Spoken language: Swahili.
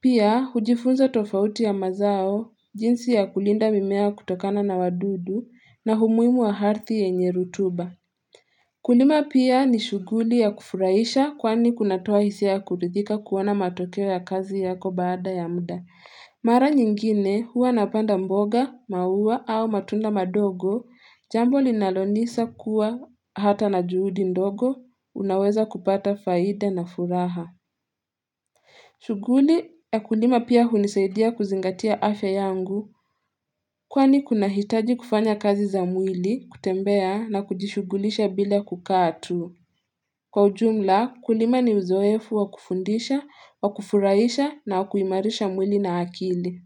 Pia, hujifunza tofauti ya mazao, jinsi ya kulinda mimea kutokana na wadudu na humuimu wa harthi yenye rutuba. Kulima pia ni shughuli ya kufuraisha kwani kunatoa hisiaya kuridhika kuona matokeo ya kazi yako baada ya mda. Mara nyingine huwa napanda mboga, maua au matunda madogo, jambo linalonisa kuwa hata na juudi ndogo, unaweza kupata faida na furaha. Shughuli ya kulima pia hunisaidia kuzingatia afya yangu kwani kunahitaji kufanya kazi za mwili kutembea na kujishugulisha bila kukaa tu. Kwa ujumla kulima ni uzoefu wa kufundisha wa kufuraisha na wa kuimarisha mwili na akili.